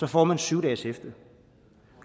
får man syv dages hæfte